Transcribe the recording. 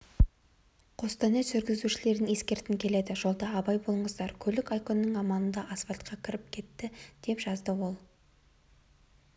қостанай жүргізушілерін ескерткім келеді жолда абай болыңыздар көлік ай-күннің аманында асфальтқа кіріп кетті деді жазды ол